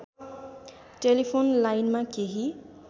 telephone लाइनमा केही